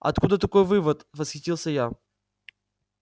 откуда такой вывод восхитился я